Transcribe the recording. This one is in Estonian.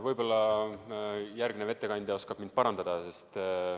Võib-olla järgmine ettekandja oskab mind parandada.